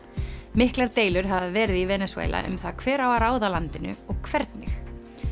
miklar deilur hafa verið í Venesúela um það hver á að ráða landinu og hvernig